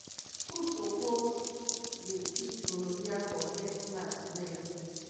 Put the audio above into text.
school suppose dey teach gonorrhea for health class well.